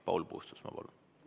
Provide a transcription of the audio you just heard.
Paul Puustusmaa, palun!